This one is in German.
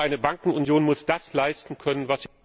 Aber eine Bankenunion muss das leisten können, was